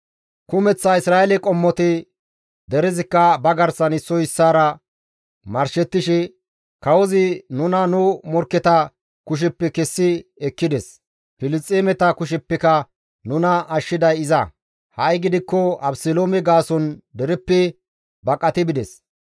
Kumeththa Isra7eele qommoti, derezikka ba garsan issoy issaara marshettishe, «Kawozi nuna nu morkketa kusheppe kessi ekkides; Filisxeemeta kusheppeka nuna ashshiday iza; ha7i gidikko Abeseloome gaason dereppe baqati bides.